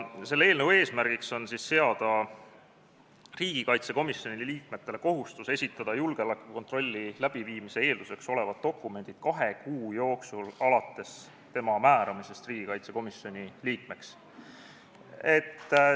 Selle eelnõu eesmärk on seada igale riigikaitsekomisjoni liikmele kohustus esitada julgeolekukontrolli läbiviimise eelduseks olevad dokumendid kahe kuu jooksul alates tema määramisest riigikaitsekomisjoni liikmeks.